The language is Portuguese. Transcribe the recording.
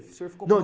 O senhor ficou